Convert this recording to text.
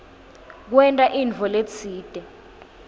kwenta intfo letsite